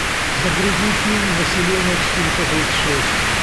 загрузи фильм население четыреста тридцать шесть